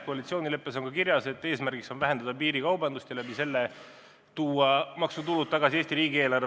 Koalitsioonileppes on ka kirjas, et eesmärk on vähendada piirikaubandust ja selle abil tuua maksutulud tagasi Eesti riigieelarvesse.